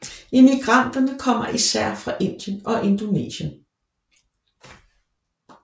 Immigranterne kommer især fra Indien og Indonesien